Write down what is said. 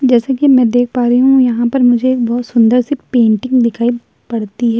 जैसे की मैं देख पा रही हूँ। यहां पर मुझे बहोत सुन्दर सी पेंटिंग दिखाई पड़ती है।